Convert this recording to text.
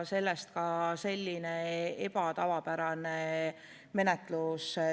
Sellest ka selline tavapäratu menetlus.